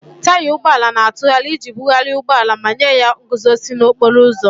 Taya ụgbọ ala na-atụgharị iji bugharịa ụgbọ ala ma nye ya nguzozi n'okporo ụzọ.